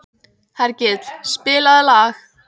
Hergill, spilaðu lag.